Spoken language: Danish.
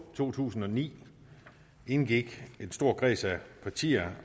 to tusind og ni indgik en stor kreds af partier